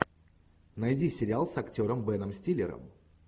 найди сериал с актером беном стиллером